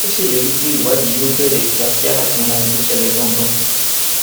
ó ṣèlérí pé ìwádìí yóò bẹrẹ kíákíá láti mọ ohun tó ṣẹlẹ ganan